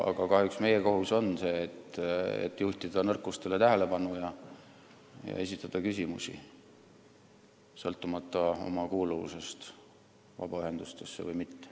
Aga kahjuks meie kohus on juhtida tähelepanu nõrkustele ja esitada küsimusi sõltumata oma kuuluvusest vabaühendustesse.